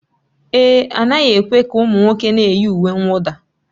Èé, a naghị ekwe ka ụmụ nwoke na-eyi uwe mwụda